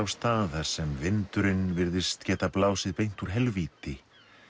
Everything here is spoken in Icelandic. á stað þar sem vindurinn virðist geta blásið beint úr helvíti